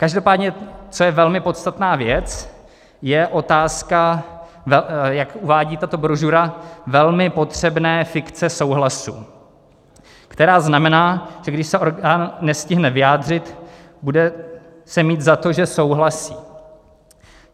Každopádně co je velmi podstatná věc, je otázka, jak uvádí tato brožura, velmi potřebné fikce souhlasu, která znamená, že když se orgán nestihne vyjádřit, bude se mít za to, že souhlasí.